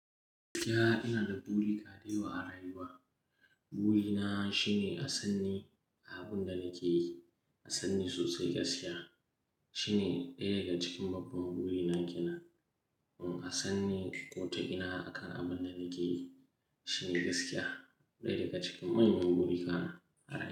Ya, ina da burika da yawa a rayuwa. Buri na shine asanni a abun da nake yi, asanni sosai gaskiya. Shine ɗaya daga cikin babban buri na kenan Uh, asanni ko ta ina akan abun da nake yi shine gaskiya, ɗaya daga cikin manyan buri na a rayuwa.